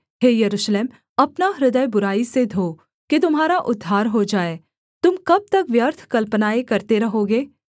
हे यरूशलेम अपना हृदय बुराई से धो कि तुम्हारा उद्धार हो जाए तुम कब तक व्यर्थ कल्पनाएँ करते रहोगे